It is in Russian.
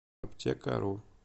аптекару